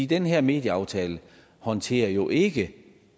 den her medieaftale håndterer jo ikke